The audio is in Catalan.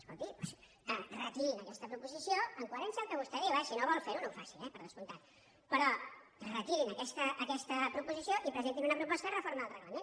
escolti doncs retirin aquesta proposició en coherència amb el que vostè diu eh si no vol fer ho no ho faci eh per descomptat però retirin aquesta proposició i presentin una proposta de reforma del reglament